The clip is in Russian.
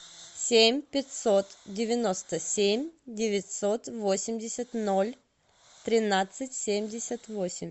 семь пятьсот девяносто семь девятьсот восемьдесят ноль тринадцать семьдесят восемь